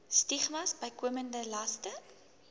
stigmas bykomende laste